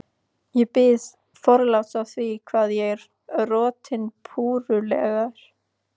Ég bið forláts á því hvað ég er rotinpúrulegur.